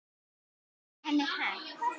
Í raun var henni hent.